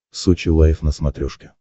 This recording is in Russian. сочи лайв на смотрешке